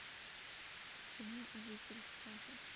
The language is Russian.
кино обитель страха